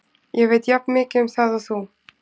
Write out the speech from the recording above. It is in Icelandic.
Ég veit jafnmikið um það og þú.